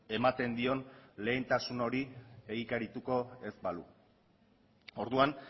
ematen dion lehentasun hori egikarituko ez balu orduan